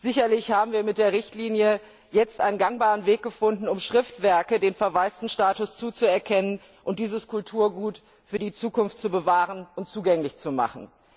Sicherlich haben wir mit der Richtlinie jetzt einen gangbaren Weg gefunden, um Schriftwerken den Verwaistenstatus zuzuerkennen und dieses Kulturgut für die Zukunft zu bewahren und zugänglich zu machen.